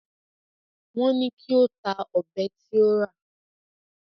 Wọ́n ní kí ó ta ọ̀bẹ tí ó rà